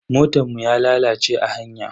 Motan mu ya lalace a hanya.